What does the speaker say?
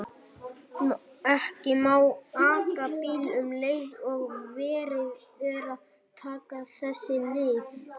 Ekki má aka bíl um leið og verið er að taka þessi lyf.